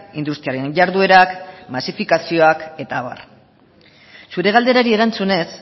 industriaren jarduerak masifikazioak eta abar zure galderari erantzunez